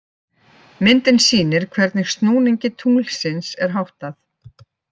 Myndin sýnir hvernig snúningi tunglsins er háttað.